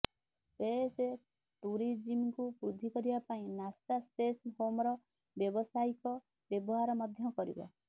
space ଟୁରିଜିମକୁ ବୃଦ୍ଧି କରିବା ପାଇଁ ନାସା ସ୍ପେସ ହୋମର ବ୍ୟବସାୟିକ ବ୍ୟବହାର ମଧ୍ୟ କରିବ